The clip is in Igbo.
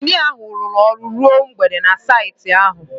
Injinia ahụ rụrụ ọrụ ruo mgbede na saịtị ahụ